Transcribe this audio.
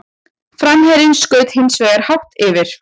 Framherjinn skaut hins vegar hátt yfir.